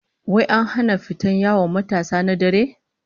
Wai an sanya dokar hana fita yawon matasa na dare?